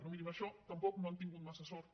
però miri en això tampoc no han tingut massa sort